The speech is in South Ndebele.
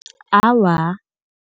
Awa.